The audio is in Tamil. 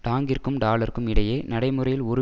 டாங்கிற்கும் டாலருக்கும் இடையே நடைமுறையில் ஒரு